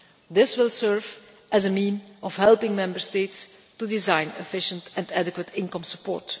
This will serve as a means of helping Member States to design efficient and adequate income support.